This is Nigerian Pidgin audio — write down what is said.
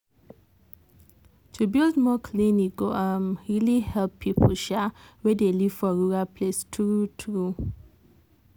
to build more clinic go um really help people um wey dey live for rural place true true.